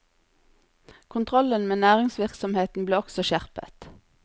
Kontrollen med næringsvirksomheten ble også skjerpet.